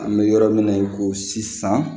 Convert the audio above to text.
An bɛ yɔrɔ min na i ko sisan